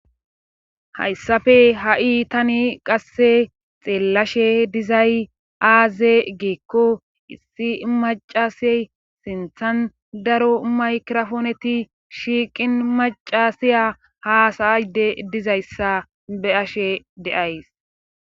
Hayssafe ha'i tani qasse xeellashe dizay aaze geekko issi macasey sinthan daro maykirofooneti shiiqin macasiya haasayayde dizayssa be ashe deays.